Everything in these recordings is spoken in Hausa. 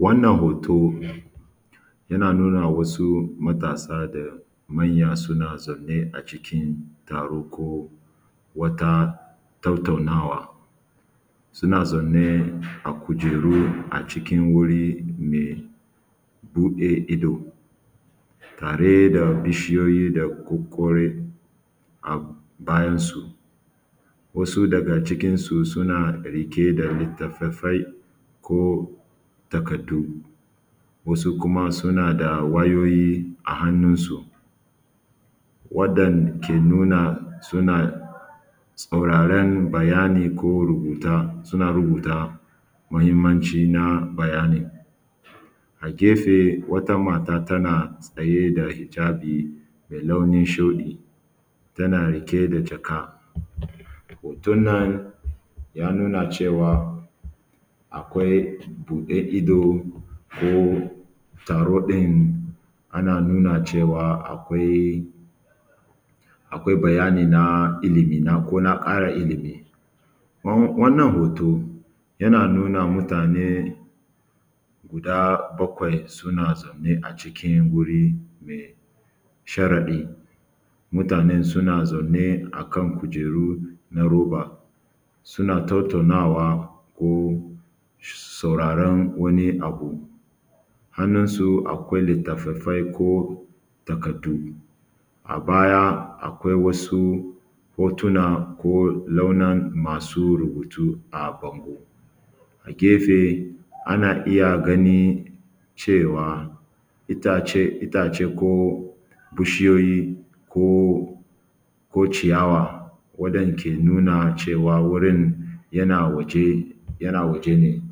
Wannan hoto yana nuna wasu matasa da manya da manya suna zaune a cikin taro ko wata tattaunawa suna zaunne a kujeru a cikin wuri me buɗe ido tare da bishiyoyi da kokkore a bayan su, wasu daga cikinsu suna riƙe da littafai ko takaddu, wasu kuma suna da wayoyi a hannunsu. Wannan ke nuna suna sauraran bayani ko rubuta suna, rubutawa mahinmnci na bayanin a gefe wata mata tana tsaye da hijabi me launin shuɗi, tana riƙe da jaka hoton nan ya nuna cewa akwai buɗe ido ko taro ɗin yana nuna cewa akwai, akwai bayani na ilimi ko na ƙara ilimi. Wannan hoto yana nuna wa mutane guda bakwai suna zaune a cikin wuri mai sharaɗi, mutanen suna zanne a kan kujeru na roba suna tattaunawa ko sauraron wani abu, hannun su akwai litattafai ko takaddu a baya akwai wasu hotuna ko sauran masu rubutu a zaune a gefe ana iya ganin cewa itacen itace ko bishiyoyi ko ciyawa wannan ke nuna cewa gurin yana waje yana waje ne.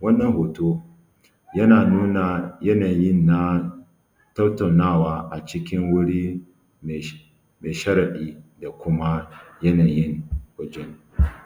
Wannan hoto yana nuna yanayin tattaunawa a cikin wuri mai sharaɗi dan kuma yanayin wajen.